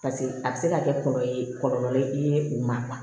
paseke a be se ka kɛ kɔlɔlɔ ye kɔlɔlɔ ye i ye o ma